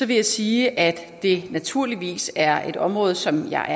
vil jeg sige at det naturligvis er et område som jeg